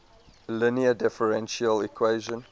linear differential equation